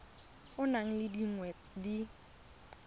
o nang le dingwaga di